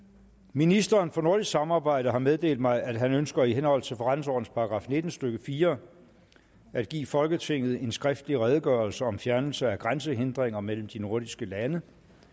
ministeren for nordisk samarbejde har meddelt mig at han ønsker i henhold til forretningsordenens § nitten stykke fire at give folketinget en skriftlig redegørelse om fjernelse af grænsehindringer mellem de nordiske lande